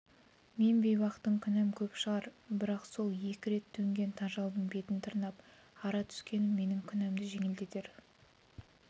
мен бейбақтың күнәм көп шығар бірақ сол екі рет төнген тажалдың бетін тырнап ара түскенім менің күнәмді жеңілдетер